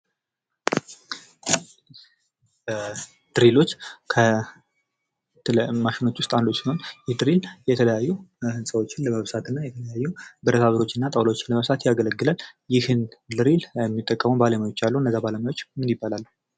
ድሪሎች ከሌሎች ማሸኖች ውስጥ አንዱ ሲሆን ይህ ድሪል የተለያዩ ህንፃዎችን ለመብሳት እና ብረታ ብረቶች እና ጠውላዎችን ለመብሳት ያገለግላል። ይህን ድሪል የሚጠቀመው ባለሙያዎች አሉ። እነዛ ባለሙያዎች ምን ይባላሉ?